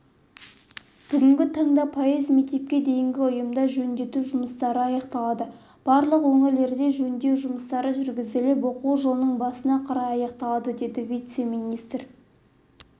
бүгінгі таңда пайыз мектепке дейінгі ұйымда жөндеу жұмыстары аяқталды барлық өңірлерде жөндеу жұмыстары жүргізіліп оқу жылының басына қарай аяқталады деді вице-министр